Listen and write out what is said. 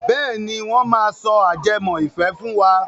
Bẹ́ẹ̀ni, wọ́n máa sọ ajẹmọ́ ìfẹ́ fún wa.